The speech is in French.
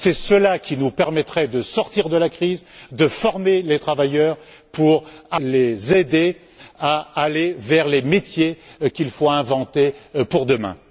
C'est cela qui nous permettrait de sortir de la crise, de former les travailleurs pour les aider à aller vers les métiers qu'il faut inventer pour demain.